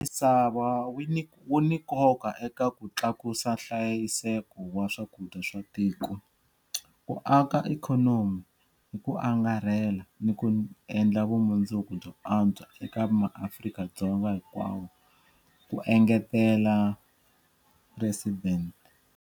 Misava wu ni nkoka eka ku tlakusa nhlayiseko wa swakudya swa tiko, ku aka ikhonomi hi ku angarhela ni ku endla vumundzuku byo antswa eka maAfrika-Dzonga hinkwavo, ku engetela Presidente.